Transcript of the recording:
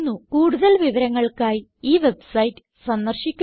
കൂടുതൽ വിവരങ്ങൾക്കായി ഈ വെബ്സൈറ്റ് സന്ദർശിക്കുക